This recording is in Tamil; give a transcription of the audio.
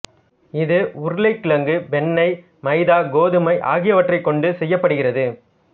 இது உருளைக் கிழங்கு வெண்ணெய் மைதா கோதுமை ஆகியவற்றைக் கொண்டு செய்யப்படுகிறது